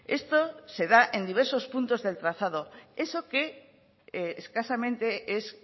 esto se da en diversos puntos del trazado eso que escasamente es